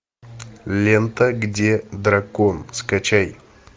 лента где дракон скачай